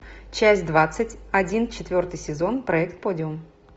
часть двадцать один четвертый сезон проект подиум